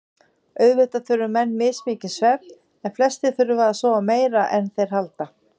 Auðvitað þurfa menn mismikinn svefn en flestir þurfa að sofa meira en þeir halda.